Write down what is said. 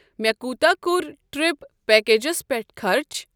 مےٚ کوٗتہ کوٚر ٹرپ پیکیجس پٮ۪ٹھ خرٕچ؟